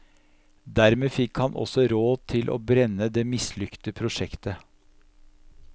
Dermed fikk han også råd til å brenne det mislykte prosjektet.